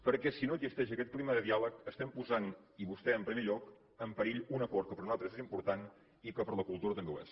perquè si no existeix aquest clima de diàleg estem posant i vostè en primer lloc en perill un acord que per a nosaltres és important i que per a la cultura també ho és